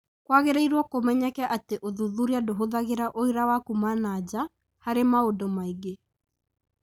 Kũagĩrĩirwo kũmenyeke atĩ ũthuthuria ndũhũthagĩra ũira wa kuuma nanja harĩ maũndũ maingĩ